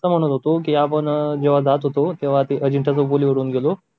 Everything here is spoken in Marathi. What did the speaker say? मी असं म्हणत होत कि आपण जेव्हा जात होतो तेव्हा अजिंठा चौफुली वरून गेलो होतो